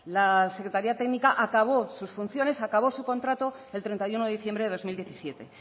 la secretaría técnica acabó sus funciones acabó su contrato el treinta y uno de diciembre de dos mil diecisiete